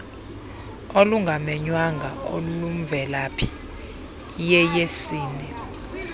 olungamenywanga olumvelaphi iyeyesini